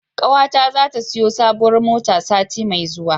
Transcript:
Ƙawata zata siyo sabuwar mota sati mai zuwa.